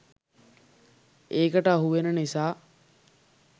ඒකට අහුවෙන නිසා.